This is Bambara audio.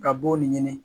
Ka b'o de ɲini